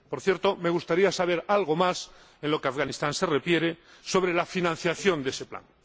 Por cierto, me gustaría saber algo más en lo que a Afganistán se refiere sobre la financiación de ese plan.